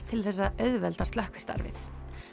til þess að auðvelda slökkvistarfið